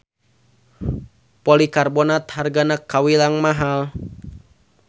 Polikarbonat hargana kawilang mahal.